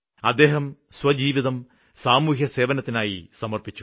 അദ്ദേഹം സ്വജീവിതം സാമൂഹ്യസേവനത്തിനായി അര്പ്പിച്ചു